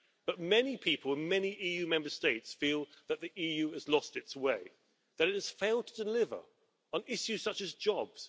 But many people in many EU Member States feel that the EU has lost its way, that it has failed to deliver on issues such as jobs.